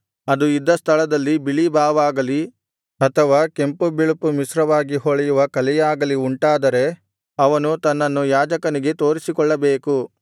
ಅದು ಇದ್ದ ಸ್ಥಳದಲ್ಲಿ ಬಿಳಿ ಬಾವಾಗಲಿ ಅಥವಾ ಕೆಂಪು ಬಿಳುಪು ಮಿಶ್ರವಾಗಿ ಹೊಳೆಯುವ ಕಲೆಯಾಗಲಿ ಉಂಟಾದರೆ ಅವನು ತನ್ನನ್ನು ಯಾಜಕನಿಗೆ ತೋರಿಸಿಕೊಳ್ಳಬೇಕು